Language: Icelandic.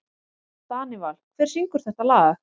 Danival, hver syngur þetta lag?